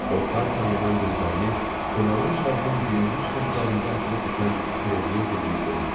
O par-par yanan gözlərini fırlanan çarxın girinti-çıxıntılarında atılıb düşən kürəciyə zilləyib durmuşdu.